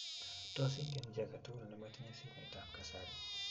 Tos, ingen chii agetugul nimatinyei simetab kasari